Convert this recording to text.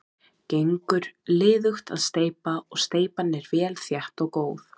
Gengur liðugt að steypa og steypan er vel þétt og góð.